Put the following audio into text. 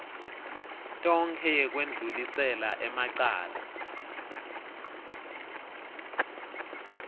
tonkhe yekwendlulisela emacala